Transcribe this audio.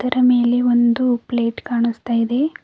ರಾಮೆಯಲಿ ಒಂದು ಪ್ಲೇಟ್ ಕಾಣುಸ್ತಾ ಇದೆ.